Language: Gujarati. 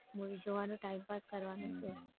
મુવી જોવાનો time pass કરવાનો છે.